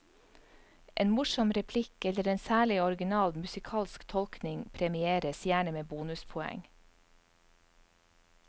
En morsom replikk, eller en særlig original musikalsk tolkning premieres gjerne med bonuspoeng.